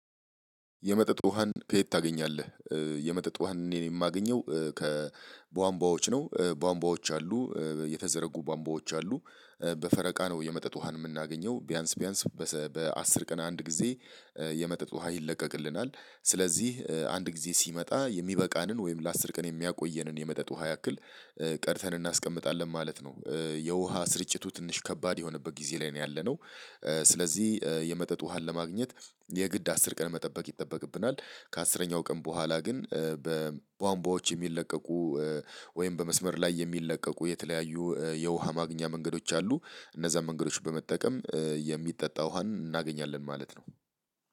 የመጠጥ ውሃን ከየት ታገኛለህ? የመጠጥ ውሃን እኔን የማገኘው ከቧንቧዎች ነው። ቧንቧዎች አሉ፤ የተዘረጉ ቧንቧዎች አሉ። በፈረቃ ነው የመጠጥ ውሃን የምናገኘው፤ ቢያንስ፣ ቢያንስ በአስር ቀን አንድ ጊዜ የመጠጥ ውሃ ይለቀቅልናል። ስለዚህ አንድ ጊዜ ሲመጣ የሚበቃንን ወይም ለአስር ቀን የሚያቆየንን የመጠጥ ውሃ ያክል ቀድተን እናስቀምጣለን ማለት ነው። የውሃ ስርጭቱ ትንሽ ከባድ የሆነበት ጊዜ ላይ ነው ያለነው። ስለዚህ የመጠጥ ውሃን ለማግኘት የግድ አስር ቀን መጠበቅ ይጠበቅብናል። ከአስረኛው ቀን በኋላ ግን በቧንቧዎች የሚለቀቁ ወይም በመስመር ላይ የሚለቀቁ የተለያዩ የውሃ ማግኛ መንገዶች አሉ። እነዛን መንገዶች በመጠቀም የሚጠጣ ውሃን እናገኛለን ማለት ነው።